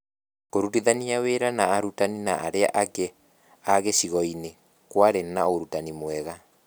Kũrutithania wĩra na arutani na arĩa angĩ a gĩcigo-inĩ kwarĩ na ũrutani mwega